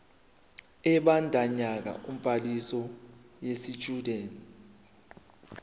ebandakanya ubhaliso yesitshudeni